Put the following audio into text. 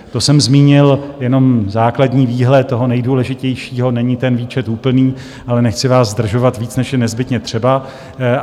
To jsem zmínil jenom základní výhled toho nejdůležitějšího, není ten výčet úplný, ale nechci vás zdržovat víc, než je nezbytně třeba.